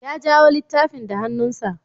Ya jawo littafin da hannunsa.